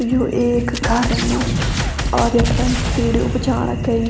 यू एक घारन और यख्फरन सीडी उब जाणा केई।